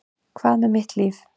Hvað með mitt líf?